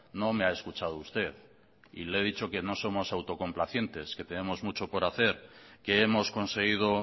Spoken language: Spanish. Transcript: no me ha escuchado usted y le he dicho que no somos autocomplacientes que tenemos mucho por hacer que hemos conseguido